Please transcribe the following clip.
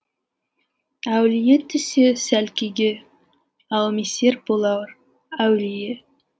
әулие түссе сәл күйге әумесер болар әулие